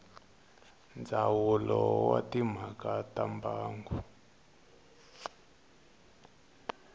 ndzawulo wa timhaka ta mbango